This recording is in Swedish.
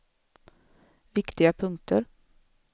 viktiga punkter